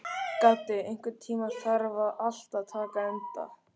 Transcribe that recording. Gaddi, einhvern tímann þarf allt að taka enda.